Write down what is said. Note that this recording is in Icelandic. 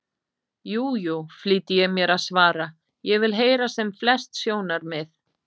Jú, jú, flýti ég mér að svara, ég vil heyra sem flest sjónarmið.